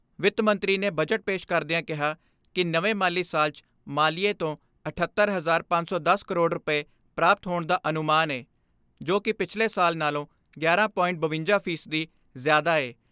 ਵਿੱਤ ਮੰਤਰੀ ਨੇ ਬਜਟ ਪੇਸ਼ ਕਰਦਿਆਂ ਕਿਹਾ ਕਿ ਨਵੇਂ ਮਾਲੀ ਸਾਲ 'ਚ ਮਾਲੀਏ ਤੋਂ ਅਠੱਤਰ ਹਜਾਰ ਪੰਜ ਸੌ ਦਸ ਕਰੋੜ ਰੁਪਏ ਪ੍ਰਾਪਤ ਹੋਣ ਦਾ ਅਨੁਮਾਨ ਏ, ਜੋ ਕਿ ਪਿਛਲੇ ਸਾਲ ਨਾਲੋਂ ਗਿਆਰਾਂ.ਬਵੰਜਾ ਫ਼ੀ ਸਦੀ ਜ਼ਿਆਦਾ ਏ।